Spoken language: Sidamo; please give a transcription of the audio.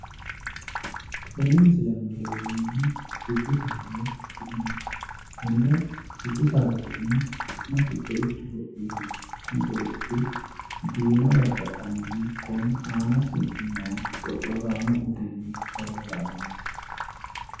Tene misile aana leelanohu dubu saada woyi gaxigallaho. konne dubu saada su'ma, su'masi xoichoho yinanni. kuni xoichi diina gargadhanohu kone aanasi noo xoxxoraamo utenni ollolaniiti.